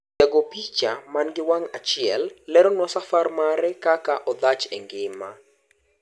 Jagoopicha mani gi wang' achiel leronwa safar mare kaka odhach engima.